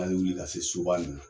An be wuli ka se soba in na.